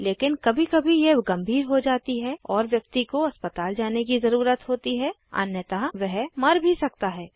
लेकिन कभी कभी यह गंभीर हो जाती है और व्यक्ति को अस्पताल जाने की ज़रुरत होती है अन्यथा वह मर भी सकता है